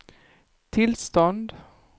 tillstånd